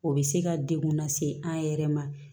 O bɛ se ka degun lase an yɛrɛ ma